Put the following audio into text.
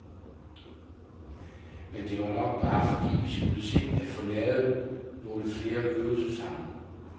Men det var nok bare, fordi vi skulle se at få lavet nogle flere øvelser sammen.